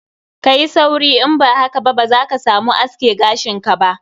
Kayi sauri, in ba haka ba za ka samu a aske gashin ka ba.